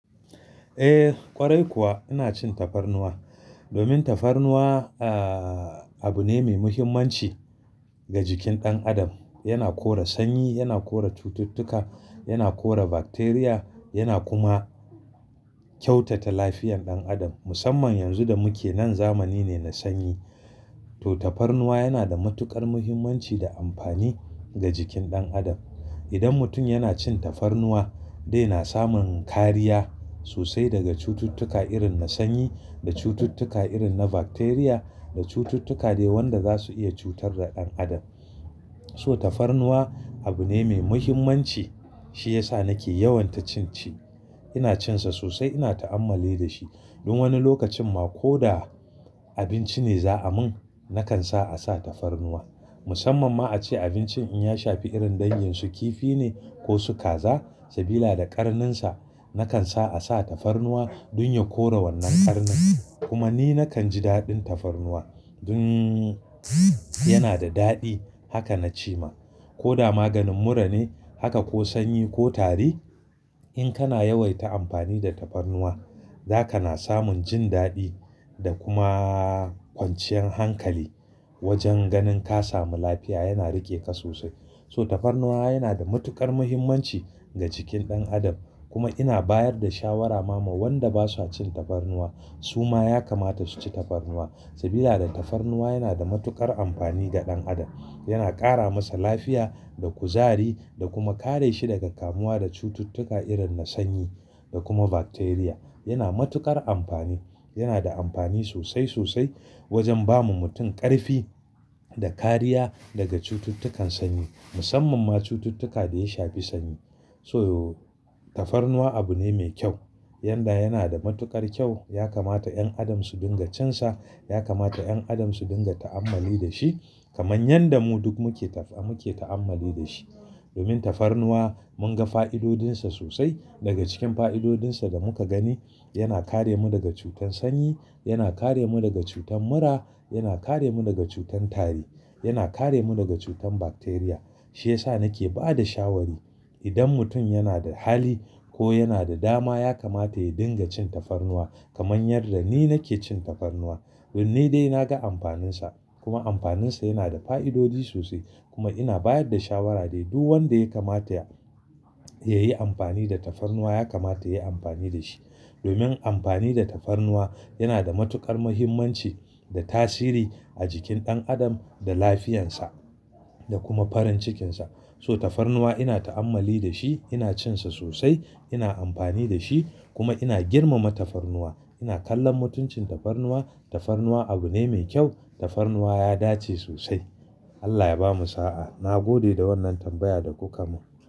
Eh ƙwarai kuwa ina cin tafarnuwa domin tafarnuwa ahh! Abu ne mai muhimmanci ga jikin ɗan adam. Yana kore sanyi, yana kore cututtuka, yana kore bakteriya yana kuma kyautata lafiyan ɗan adam. Musamman yanzu da muke nan zamani ne na sanyi to tafarnuwa yana da matuƙar muhimmanci da amfani ga jikin ɗan adam. Idan mutum yana cin tafarnuwa zai na samun kariya sosai daga cututtuka irin na sanyi da cututtuka irin na bakteriya da cututtuka dai wanda za su iya cutar da ɗan adam. So tafarnuwa abu ne mai muhimmanci shiyasa nake yawan ta cin shi. Ina cin sa sosai ina ta'ammali da shi. Dun wani lokacin ma ko da abinci ne za a mun nakan sa a sa tafarnuwa. Musamman ma a ce abincin in ya shafi irin dangin su kifi ne ko su kaza sabida da ƙarnin sa nakan sa a sa tafarnuwa dun ya kore wannan ƙarnin kuma ni nakan ji daɗin tafarnuwa. Inn! Yana da daɗi haka na ce ma. Ko da maganin mura ne haka ko sanyi ko tari in kana yawaita amfani da tafarnuwa, zaka na samun jin daɗi da kuma kwanciyar hankali wajen ganin ka samu lafiya yana riƙe ka sosai. So tafarnuwa yana da matuƙar muhimmanci ga jikin ɗan adam kuma ina bayar da shawara ma ma wanda basa cin tafarnuwa su ma ya kamata su ci tafarnuwa. Sabida tafarnuwa yana da matuƙar amfani ga ɗan adam. Yana ƙara masa lafiya da kuzari da kuma kare shi daga kamuwa da cututtuka irin na sanyi da kuma bakteriya. Yana matuƙar amfani. Yana da amfani sosai sosai wajen ba ma mutum ƙarfi da kariya daga cututtukan sanyi. Musamman ma cututtuka da ya shafi sanyi. So tafarnuwa abu ne me kyau. Yanda yana da matuƙar kyau yakamata ƴan adam su dinga cin sa. Yakamata ƴan adam su dinga ta'ammali da shi kamar yanda mu duk muke taf-- muke ta'ammali da shi. Domin tafarnuwa mun ga fa'idodin sa sosai. Daga cikin fa'idodin sa da muka gani yana kare mu daga cutar sanyi, yana kare mu daga cutar mura, yana kare mu daga cutar tari, yana kare mu daga cutar bakteriya. Shiyasa nake ba da shawari idan mutum yana da hali ko yana da dama yakamata ya dinga cin tafarnuwa kamar yadda ni nake cin tafarnuwa. Don ni dai na ga amfanin sa kuma amfanin sa yana da fa'idodi sosai kuma ina bayar da shawara dai duk wanda yakamata ya, ya yi amfani da tafarnuwa yakamata ya yi amfani da shi. Domin amfani da tafarnuwa yana da matuƙar muhimmanci da tasiri a jikin ɗan adam da lafiyan sa da kuma farin cikin sa. So tafarnuwa ina ta'ammali da shi, ina cin sa sosai, ina amfani da shi kuma ina girmama tafarnuwa. Ina kallon mutuncin tafarnuwa. Tafarnuwa abu ne mai kyau. Tafarnuwa ya dace sosai. Allah ya bamu sa'a. Na gode da wannan tambaya da kuka mun.